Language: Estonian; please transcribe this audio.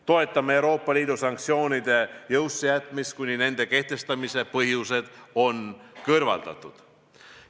Toetame Euroopa Liidu sanktsioonide jõusse jätmist, kuni nende kehtestamise põhjused on kõrvaldatud.